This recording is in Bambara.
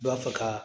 B'a fɛ ka